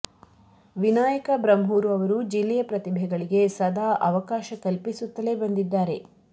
ವಿನಾಯಕ ಬ್ರಹ್ಮೂರು ಅವರು ಜಿಲ್ಲೆಯ ಪ್ರತಿಭೆಗಳಿಗೆ ಸದಾ ಅವಕಾಶ ಕಲ್ಪಿಸುತ್ತಲೇ ಬಂದಿದ್ದಾರೆ